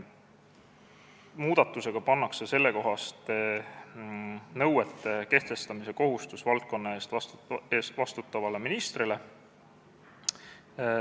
Muudatusega pannakse sellekohaste nõuete kehtestamise kohustus valdkonna eest vastutavale ministrile.